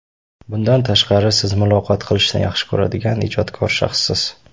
Bundan tashqari, siz muloqot qilishni yaxshi ko‘radigan, ijodkor shaxssiz.